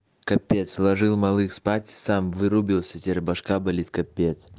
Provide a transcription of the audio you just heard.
капец сложил малых спать сам вырубился теперь башка болит капец